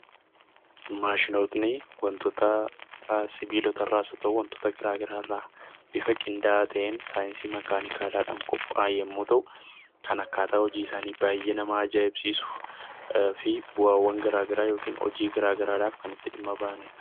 Maashinootni wantoota sibilota irraa haa ta'uu wantoota gara garaa irraa bifa qindaa'aa ta'een saayiinsii makaanikaalaa dhaan qophaa'u yommuu ta'u, kan akkaataan hojii isaanii baay'ee nama ajaa'ibsiisuu fi bu'aawwan gara garaa yokiin hojii gara garaa dhawf kan itti dhimma bahani dha.